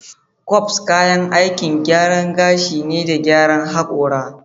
Combs kayan aikin gyaran gashi ne da gyaran hakora.